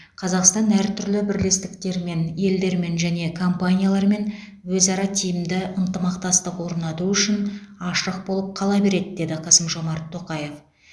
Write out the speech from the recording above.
қазақстан әртүрлі бірлестіктермен елдермен және компаниялармен өзара тиімді ынтымақтастық орнату үшін ашық болып қала береді деді қасым жомарт тоқаев